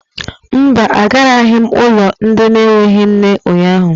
Mba, agaraghị m ụlọ ndị na-enweghị nne ụnyahụ.